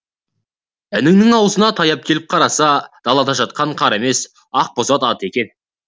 іннің аузына таяп келіп қараса далада жатқан қар емес ақбоз ат екен